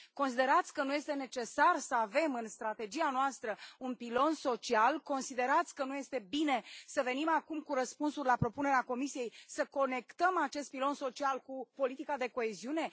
Considerați că nu este necesar să avem în strategia noastră un pilon social, considerați că nu este bine să venim acum cu răspunsuri la propunerea Comisiei, să conectăm acest pilon social cu politica de coeziune?